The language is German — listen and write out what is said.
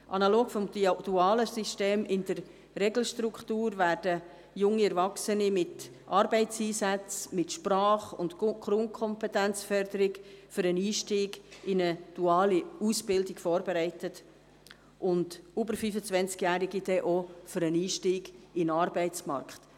Analog zum dualen System in der Regelstruktur werden junge Erwachsene mit Arbeitseinsätzen, mit Sprach- und Grundkompetenzförderung für den Einstieg in eine duale Ausbildung vorbereitet und über 25-Jährige auch für den Einstieg in den Arbeitsmarkt.